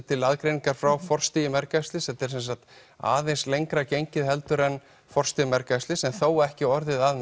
til aðgreiningar frá forstigi mergæxlis þetta er semsagt aðeins lengra gengið heldur en forstig mergæxlis en þó ekki orðið að